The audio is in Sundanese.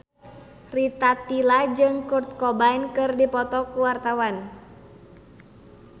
Rita Tila jeung Kurt Cobain keur dipoto ku wartawan